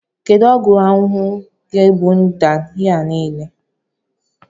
Kedu ọgwụ ahuhu ga-egbu mda ndị a niile?